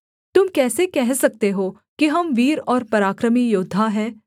तुम कैसे कह सकते हो कि हम वीर और पराक्रमी योद्धा हैं